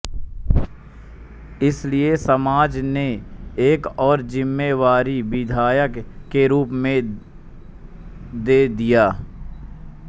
इसलिए समाज ने एक और जिम्मेवारी विधायक के रूप में दे दिया